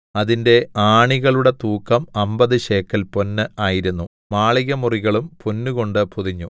അതിന്റെ ആണികളുടെ തൂക്കം അമ്പത് ശേക്കെൽ പൊന്ന് ആയിരുന്നു മാളികമുറികളും പൊന്നുകൊണ്ടു പൊതിഞ്ഞു